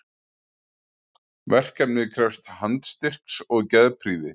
Verkefnið krefst handstyrks og geðprýði.